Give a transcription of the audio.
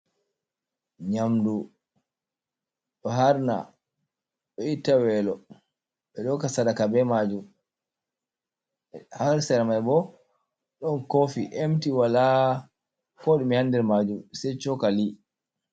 Nyaamdu ɗo haarna, ɗo itta weelo. Ɓe ɗo hokka sadaka bee maajum. Haa sera man boo ɗon koofi emti walaa koo ɗume haa nder maajum say cookali.